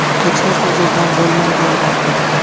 Hech narsa o‘z-o‘zidan bo‘lmaydi, albatta.